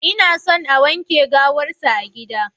Inason a wanke gawar sa a gida.